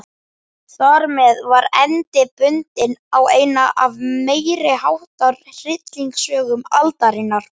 Þarmeð var endi bundinn á eina af meiriháttar hryllingssögum aldarinnar.